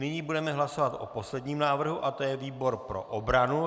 Nyní budeme hlasovat o posledním návrhu, a to je výbor pro obranu.